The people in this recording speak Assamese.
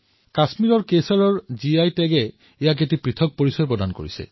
কাশ্মীৰৰ কেশৰক জিআই টেগ চিহ্নিত কৰাৰ ফলত ই এক পৃথক পৰিচয় লাভ কৰিছে